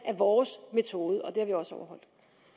af vores metode og det har vi også overholdt